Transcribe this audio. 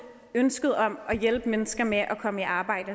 ønsket om at hjælpe mennesker med at komme i arbejde